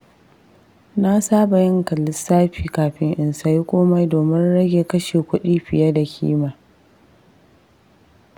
Na saba yin lissafi kafin in sayi komai domin rage kashe kuɗi fiye da ƙima.